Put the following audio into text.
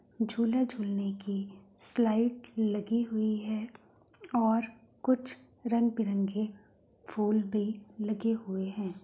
झूला-झूलने की स्लाइड लगी हुई है और कुछ रंग-बिरंगे फूल भी लगे हुए हैं।